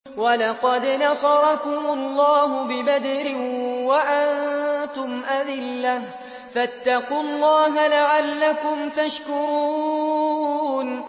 وَلَقَدْ نَصَرَكُمُ اللَّهُ بِبَدْرٍ وَأَنتُمْ أَذِلَّةٌ ۖ فَاتَّقُوا اللَّهَ لَعَلَّكُمْ تَشْكُرُونَ